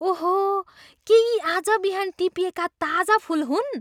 ओहो! के यी आज बिहान टिपिएका ताजा फुल हुन्?